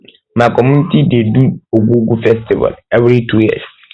my community dey dey do di ogwugwu festival every two years